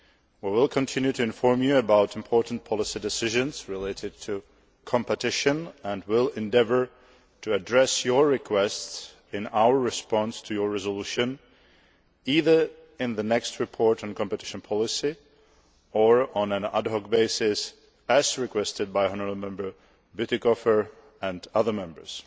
We will continue to inform you about important policy decisions relating to competition and will endeavour to address your requests in our response to your resolution, either in the next Report on Competition Policy or on an ad hoc basis, as requested by Mr Bütikofer and other Members.